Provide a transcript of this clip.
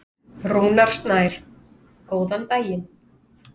Rúnar Snær: Góðan daginn.